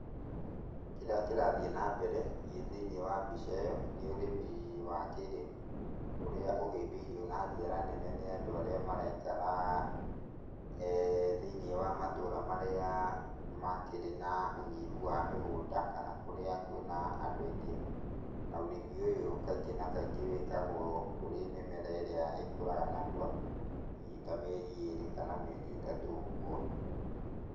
Kĩrĩa kĩrathiĩ nambere thĩiniĩ wa mbica ĩyo, nĩ ũrĩmi wa kĩrĩu, ũrĩa ũhĩmbĩirio na njĩra nene nĩ andũ arĩa maraikara, thĩiniĩ wa matũra marĩa makĩrĩ na ũnyihu wa mĩgũnda, kana kũrĩa kwĩna andũ aingĩ. Na ũrĩmi ũyũ kaingĩ na kaingĩ wĩkagũo kũrĩ mĩmera ĩrĩa ĩkũraga narua, hihi ta mĩeri ĩrĩ kana mĩeri ĩtatũ ũguo.